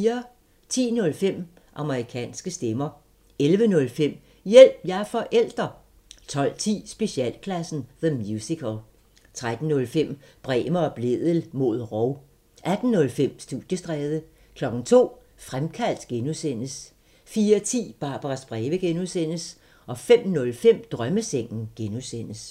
10:05: Amerikanske stemmer 11:05: Hjælp – jeg er forælder! 12:10: Specialklassen – The Musical 13:05: Bremer og Blædel mod rov 18:05: Studiestræde 02:00: Fremkaldt (G) 04:10: Barbaras breve (G) 05:05: Drømmesengen (G)